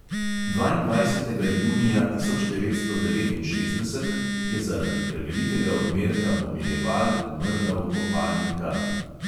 Dvaindvajsetega junija tisoč devetsto devetinšestdeset je zaradi prevelikega odmerka pomirjeval umrla v kopalni kadi.